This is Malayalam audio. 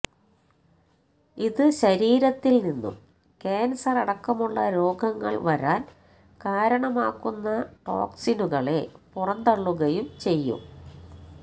ഇത് ശരീരത്തില് നിന്നും ക്യാന്സറടക്കമുള്ള രോഗങ്ങള് വരാന് കാരണമാക്കുന്ന ടോക്സിനുകളെ പുറന്തള്ളുകയും ചെയ്യും